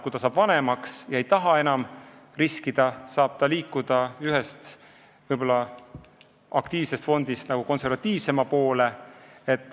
Kui nad saavad vanemaks ega taha enam riskida, saavad nad liikuda aktiivsest fondist konservatiivsema poole.